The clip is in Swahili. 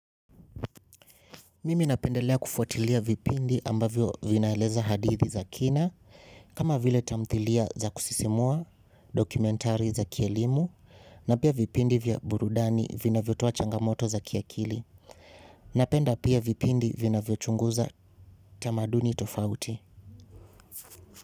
Mimi napendelea kufuatilia vipindi ambavyo vinaeleza hadithi za kina, kama vile tamthilia za kusisimua dokumentari za kielimu, na pia vipindi vya burudani vina vyo toa changamoto za kiakili. Napenda pia vipindi vina vyo chunguza tamaduni tofauti.